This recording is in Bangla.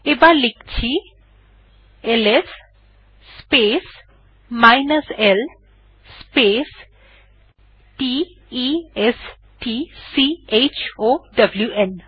আবার লিখছি LS space l space t e s t c h o w ন